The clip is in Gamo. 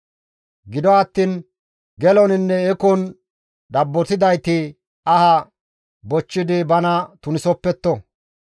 Gido attiin geloninne ekon dabbotidayti aha bochchidi bana tunisopetto.